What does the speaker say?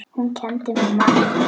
Hún kenndi mér margt.